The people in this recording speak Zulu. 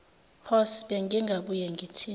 horse bengingabuye ngithini